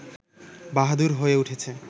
বাহাদুর হয়ে উঠেছে